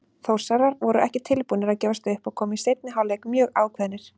Þórsarar voru ekki tilbúnir að gefast upp og komu í seinni hálfleik mjög ákveðnir.